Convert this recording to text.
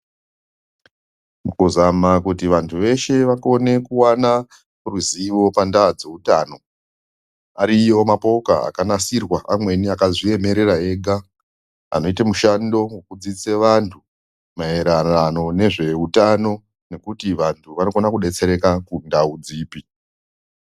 Mukuzama kuti vantu veshe vakone kuwana ruzivo panda dzeutano, ariyo mapoka akanasirwa amweni akazviemerera ega anoita mushando wokudzidzise vantu maererano nezveutano nekuti vanhu vanokona kudetsereka kundau dzipi.